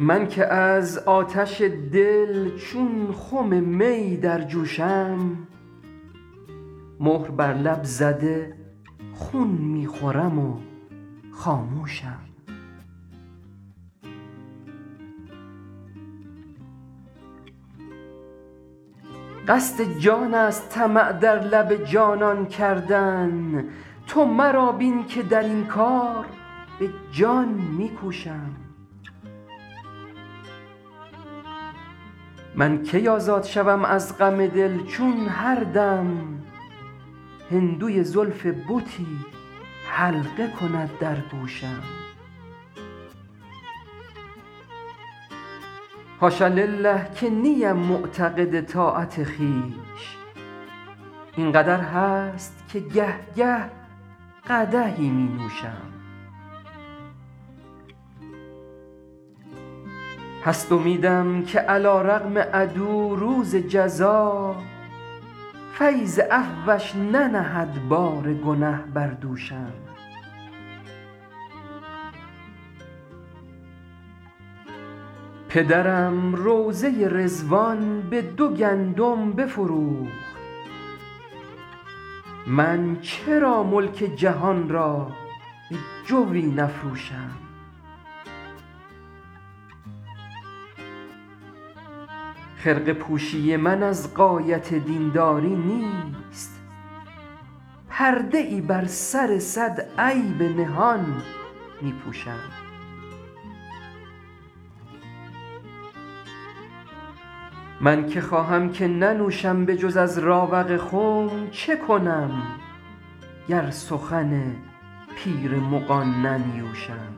من که از آتش دل چون خم می در جوشم مهر بر لب زده خون می خورم و خاموشم قصد جان است طمع در لب جانان کردن تو مرا بین که در این کار به جان می کوشم من کی آزاد شوم از غم دل چون هر دم هندوی زلف بتی حلقه کند در گوشم حاش لله که نیم معتقد طاعت خویش این قدر هست که گه گه قدحی می نوشم هست امیدم که علیرغم عدو روز جزا فیض عفوش ننهد بار گنه بر دوشم پدرم روضه رضوان به دو گندم بفروخت من چرا ملک جهان را به جوی نفروشم خرقه پوشی من از غایت دین داری نیست پرده ای بر سر صد عیب نهان می پوشم من که خواهم که ننوشم به جز از راوق خم چه کنم گر سخن پیر مغان ننیوشم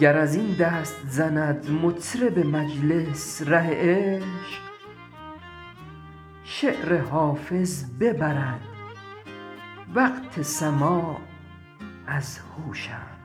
گر از این دست زند مطرب مجلس ره عشق شعر حافظ ببرد وقت سماع از هوشم